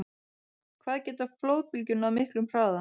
Hvað geta flóðbylgjur náð miklum hraða?